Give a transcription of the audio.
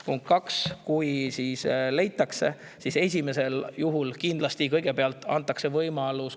Punkt kaks, kui leitakse, siis esmalt, kõigepealt kindlasti antakse võimalus.